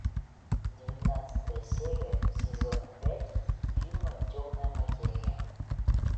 девятнадцатая серия сезона пять фильма темная материя